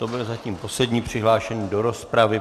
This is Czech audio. To byl zatím poslední přihlášený do rozpravy.